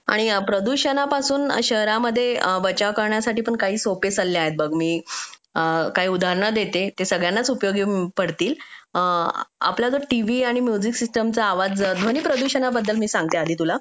आणि प्रदूषणापासून शहरांमध्ये प्रदूषणापासून बचाव करण्यासाठी काही सोपे सल्ले आहेत बघ मी काही उदाहरणे देते ते सगळ्यांनाच उपयोगी पडतील आपल्या टीव्ही आणि म्युझिक सिस्टीम चा आवाज ध्वनी प्रदूषणाबद्दल आधी सांगते मी तुला